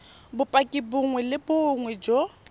bopaki bongwe le bongwe jo